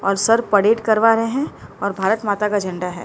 और sir parade करवा रहे हैं और भारत माता का झंडा है।